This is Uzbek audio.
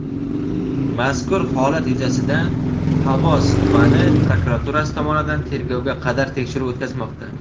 mazkur holat yuzasidan Xovos tumani prokuraturasi tomonidan tergovga qadar tekshiruv o‘tkazilmoqda.